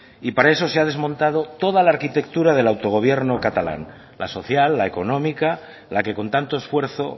y para eso se ha desmontado toda la arquitectura del autogobierno catalán la social la económica la que con tanto esfuerzo